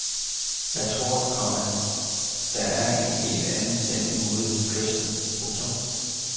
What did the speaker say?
Jeg tror, komma der er en helt anden stemning ude ved kysten. punktum